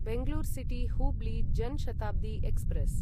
Bangalore city Hubli Jan Shatabdi express